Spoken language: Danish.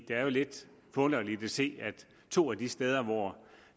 er jo lidt forunderligt at se at to af de steder hvor